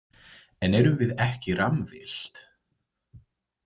En erum við ekki rammvillt?